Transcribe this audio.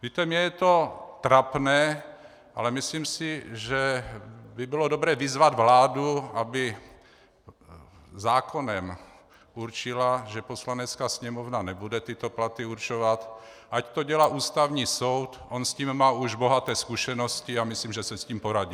Víte, mně je to trapné, ale myslím si, že by bylo dobré vyzvat vládu, aby zákonem určila, že Poslanecká sněmovna nebude tyto platy určovat, ať to dělá Ústavní soud, on s tím má už bohaté zkušenosti a myslím, že si s tím poradí.